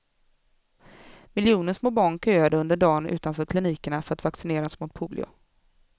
Miljoner små barn köade under dagen utanför klinikerna för att vaccineras mot polio.